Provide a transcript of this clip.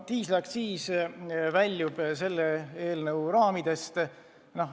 Diislikütuse aktsiisi teema väljub selle eelnõu raamidest.